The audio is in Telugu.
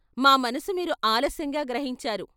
మా మనసు మీరు ఆలస్యంగా గ్రహించారు.